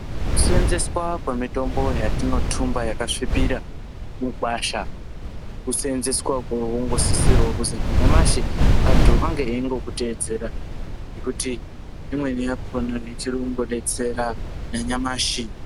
Kusenzeswa kwemitombo yatinotumba yakasvipira mugwasha kusenzeswa kunosisirwa kuti nanyamashi antu ange eikutedzera ngekuti imweni yacho ichiri kungodetsera nanyamashi.